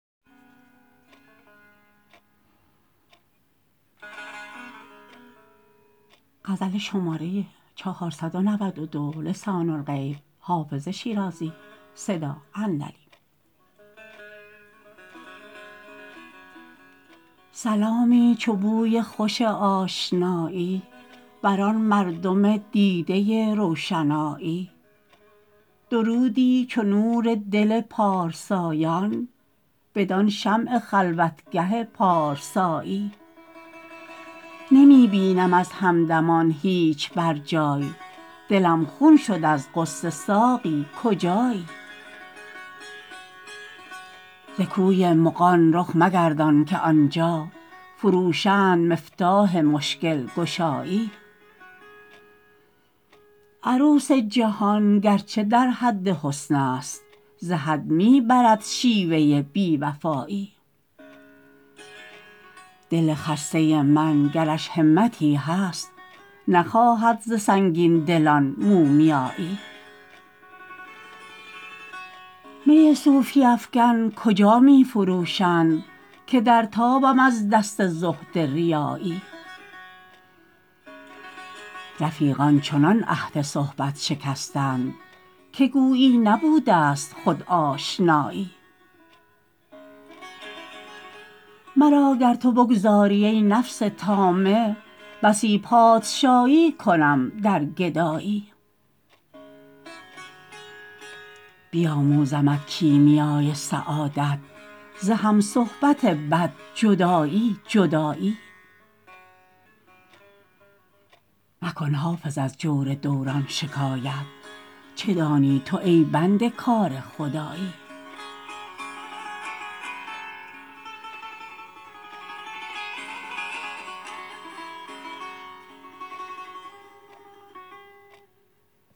سلامی چو بوی خوش آشنایی بدان مردم دیده روشنایی درودی چو نور دل پارسایان بدان شمع خلوتگه پارسایی نمی بینم از همدمان هیچ بر جای دلم خون شد از غصه ساقی کجایی ز کوی مغان رخ مگردان که آن جا فروشند مفتاح مشکل گشایی عروس جهان گر چه در حد حسن است ز حد می برد شیوه بی وفایی دل خسته من گرش همتی هست نخواهد ز سنگین دلان مومیایی می صوفی افکن کجا می فروشند که در تابم از دست زهد ریایی رفیقان چنان عهد صحبت شکستند که گویی نبوده ست خود آشنایی مرا گر تو بگذاری, ای نفس طامع بسی پادشایی کنم در گدایی بیاموزمت کیمیای سعادت ز هم صحبت بد جدایی جدایی مکن حافظ از جور دوران شکایت چه دانی تو ای بنده کار خدایی